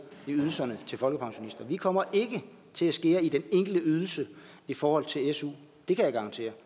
i ydelserne til folkepensionister vi kommer ikke til at skære i den enkelte ydelse i forhold til su det kan jeg garantere